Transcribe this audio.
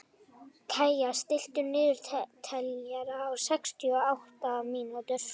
Kaía, stilltu niðurteljara á sextíu og átta mínútur.